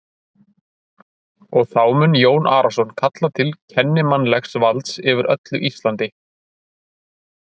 Og þá mun Jón Arason kalla til kennimannlegs valds yfir öllu Íslandi!